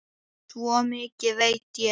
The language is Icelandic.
Svo mikið veit ég.